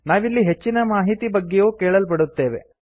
ನಾವಿಲ್ಲಿ ಹೆಚ್ಚಿನ ಮಾಹಿತಿ ಬಗ್ಗೆಯೂ ಕೇಳಲ್ಪಡುತ್ತೇವೆ